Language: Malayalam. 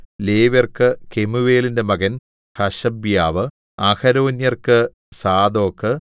ലേവ്യർക്കു കെമൂവേലിന്റെ മകൻ ഹശബ്യാവ് അഹരോന്യർക്കു സാദോക്